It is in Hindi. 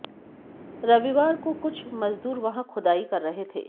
रविवार को कुछ मजदूर वहां खुदाई कर रहे थे